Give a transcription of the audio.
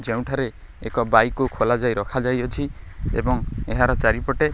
ଯେଉଁଠାରେ ଏକ ବାଇକ୍ କୁ ଖୋଲା ଯାଇ ରଖାଯାଇ ଅଛି ଏବଂ ଏହାର ଚାରିପଟେ --